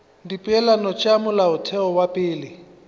dipeelano tša molaotheo wa pele